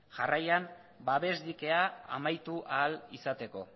jarraian babes dikea amaitu ahal izateko